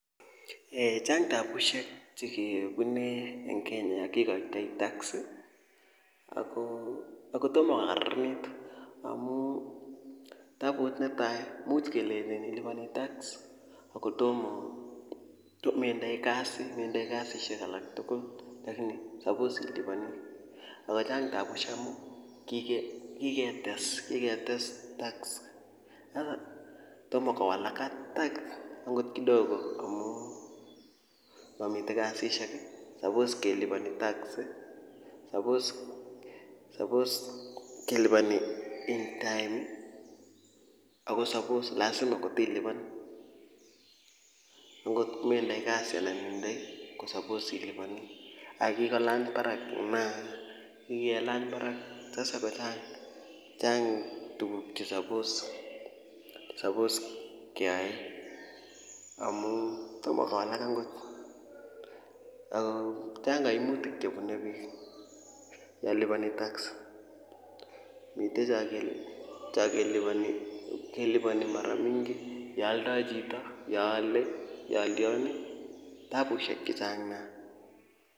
Eeh chang tabushek chekebune en Kenya kikoitoi tax ako tomo ko karanit amun tabut netai imuch kelenji iliponi tax akotomo indoi kasi metindoi kasi alak tukul lakini suppose ako chang tabushek amun kiketes kiketes tax ak tomo kowalak akot kidogo amun momiten kasisiek kii suppose keliponi tax suppose suppose keliponi en time Ako suppose lasima kotilipan akot kometindoi kasi anan itindoi ko suppose siliponi ak kikolany barak maa kikelany barak tese kochang Chang tukul che suppose suppose keyai amun tomo konai kot Ako chang koimutik chebunu bik yon liponi tax miten chon keliponi keliponi mara mingi yoo oldo chito yon ole yon lyon kii tabushek chechang nia.